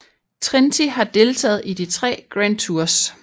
Trenti har deltaget i de tre grand tours